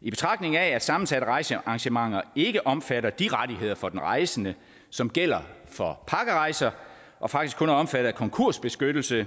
i betragtning af at sammensatte rejsearrangementer ikke er omfattet af de rettigheder for den rejsende som gælder for pakkerejser og faktisk kun er omfattet af konkursbeskyttelse